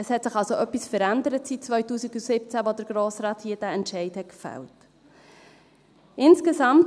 Es hat sich also seit 2017 etwas verändert, als der Grosse Rat hier in diesem Saal diesen Entscheid gefällt hat.